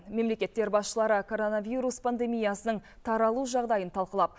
мемлекеттер басшылары коронавирус пандемиясының таралу жағдайын талқылап